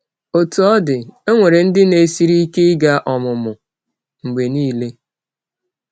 Otú ọ dị, e nwere ndị na-esiri ike ịga ọmụmụ mgbe niile.